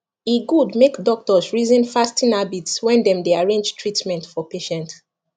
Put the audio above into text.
e good make doctors reason fasting habits when dem dey arrange treatment for patient